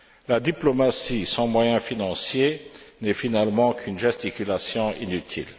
La diplomatie, sans moyens financiers, n'est finalement qu'une gesticulation inutile.